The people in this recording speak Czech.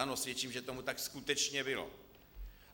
Ano, svědčím, že tomu tak skutečně bylo.